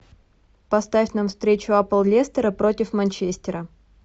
поставь нам встречу апл лестера против манчестера